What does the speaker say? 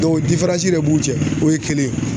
de b'u cɛ o ye kelen ye.